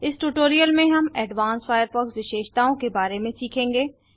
इस ट्यूटोरियल में हम एडवांस्ड फायरफॉक्स विशेषताओं के बारे में सीखेंगे